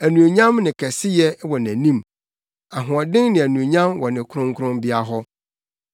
Anuonyam ne kɛseyɛ wɔ nʼanim; ahoɔden ne anuonyam wɔ ne kronkronbea hɔ.